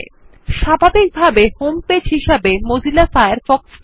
start UP এর মধ্যে when Firefox starts menu থেকে শো মাই হোম পেজ নির্বাচন করুন